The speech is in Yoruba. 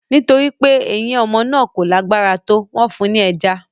Nítorí pé eyín ọmọ náà kò lágbára tó, wọ́n fún un ní ẹja